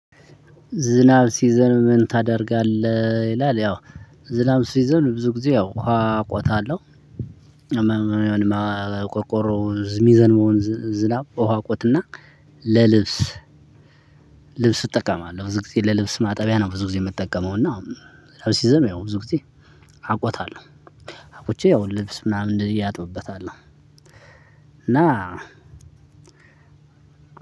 ዝናብ ስዘንብ ምን ታደርጋለህ ይላል ያው ዝናብ ስዘንብ ብዙ ጊዜ ያው ውሃ ቆጣለሁ፤ ቆርቆሮ ዝ ምዘንባውን ዝናብ ውሃ አቆጥና ለልብስ ልብስ እጠቀማለሁ። ብዙ ጊዜ ለልብስ ማጠቢያ ብዙ ግዜ ምጠቀመው እና ዝናብ ስዘንብ ያው ብዙ ጊዜ አቆጣለሁ። አቁጬ ያው ልብስ ምናምን እንደዚህ አጥብበታለሁ። እና